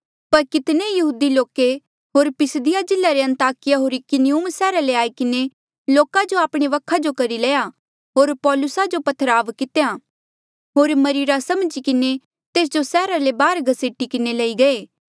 पर कितने यहूदी लोके होर पिसिदिया जिल्ले रे अन्ताकिया होर इकुनियुम सैहरा ले आई किन्हें लोका जो आपणे वखा जो करी लया होर पौलुसा जो पत्थरवाह कितेया होर मरीरा समझी किन्हें तेस जो सैहरा ले बाहर घसीटी किन्हें लई गये